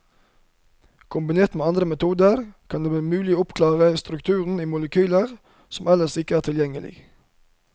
Kombinert med andre metoder kan det bli mulig å oppklare strukturer i molekyler som ellers ikke er tilgjengelige.